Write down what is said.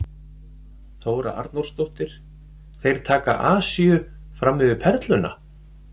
Þóra Arnórsdóttir: Þeir taka Asíu fram yfir Perluna?